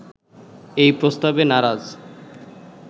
এই প্রস্তাবে নারাজ